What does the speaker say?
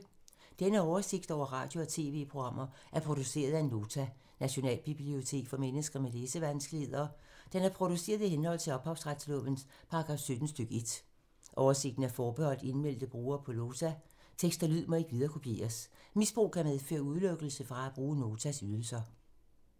Denne oversigt over radio og TV-programmer er produceret af Nota, Nationalbibliotek for mennesker med læsevanskeligheder. Den er produceret i henhold til ophavsretslovens paragraf 17 stk. 1. Oversigten er forbeholdt indmeldte brugere på Nota. Tekst og lyd må ikke viderekopieres. Misbrug kan medføre udelukkelse fra at bruge Notas ydelser.